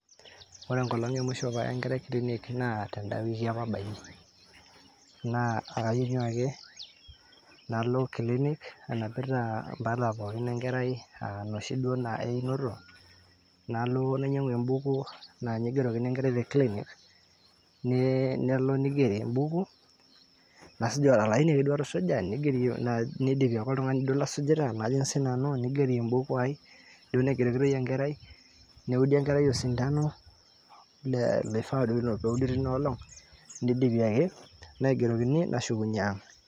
ore enkolong emusho paaya enkerai clinic naa tend'a wiki apa abayie naa akakenyu ake nalo clinic anapita impala pookin enkerai aa noshi duo naa einoto nalo nainyiang'u embuku naa ninye igerokini enkerai te clinic nelo nigeri embuku nasuj, olaini ake duo atusuja nidipi ake oltung'ani duo lasujita najing sinanu nigeri embuku ai duo naigerokitoi enkerai neudi enkerai osintano le, oifaa duo neudi tina olong nidipi ake naigerokini nashukunyie ang .